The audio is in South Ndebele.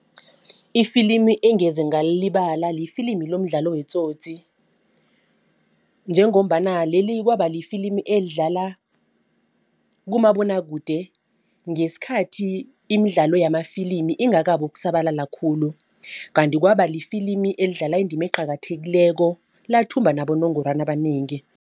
Ifilimi engeze ngalilibala lifilimi lomdlalo weTsotsi. Njengombana leli kwaba lifilimi elidlala kumabonwakude ngesikhathi imidlalo yamafilimi ingakabi ukusabalala khulu. Kanti kwaba lifilimi elidlala indima eqakathekileko lathumba abonogorwana abanengi.